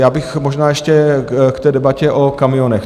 Já bych možná ještě k té debatě o kamionech.